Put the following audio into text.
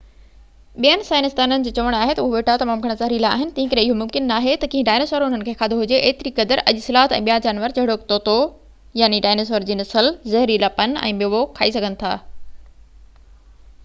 ٻين سائنسدانن جو چوڻ آهي تہ اهي ٻوٽا تمام گهڻا زهريلا آهن تنهنڪري اهو ممڪن ناهي تہ ڪنهن ڊائنوسر انهن کي کاڌو هجي، ايتري قدر اڄ سلاٿ ۽ ٻيا جانور جهڙوڪ طوطو ڊائنوسار جي نسل زهريلا پن ۽ ميوو کائي سگهن ٿا